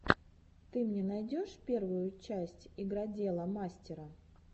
ты мне найдешь первую часть игродела мастера